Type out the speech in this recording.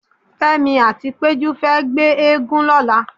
Fẹ́mi àti Péjú fẹ́ gbé eégún lọ́la.